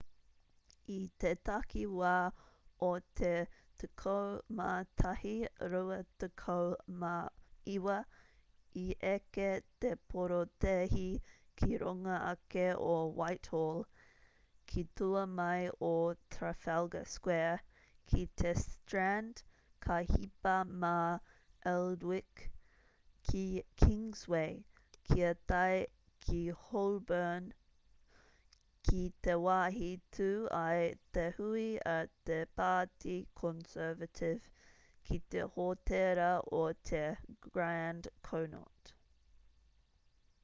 i te takiwā o te 11:29 i eke te porotēhi ki runga ake o whitehall ki tua mai o trafalgar square ki te strand ka hipa mā aldwych ki kingsway kia tae ki holborn ki te wāhi tū ai te hui a te pāti conservative ki te hōtēra o te grand connaught